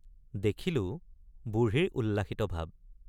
দেখিলোঁ বুঢ়ীৰ উল্লাসিত ভাব।